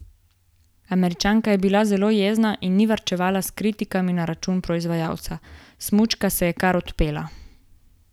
Američanka je bila zelo jezna in ni varčevala s kritikami na račun proizvajalca: "Smučka se je kar odpela.